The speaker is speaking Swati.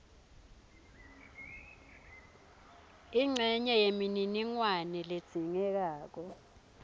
incenye yemininingwane ledzingekako